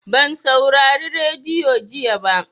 Ban saurari radiyo jiya ba.